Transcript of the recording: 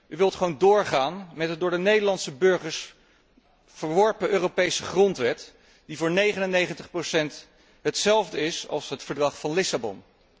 U wilt gewoon doorgaan met de door de Nederlandse burgers verworpen Europese grondwet, die voor 99 procent hetzelfde is als het Verdrag van Lissabon.